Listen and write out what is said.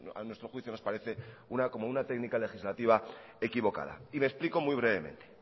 a nuestro juicio nos parece como una técnica legislativa equivocada y me explico muy brevemente